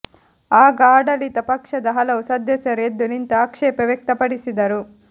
ಆಗ ಆಡಳಿತ ಪಕ್ಷದ ಹಲವು ಸದಸ್ಯರು ಎದ್ದು ನಿಂತು ಆಕ್ಷೇಪ ವ್ಯಕ್ತಪಡಿಸಿದರು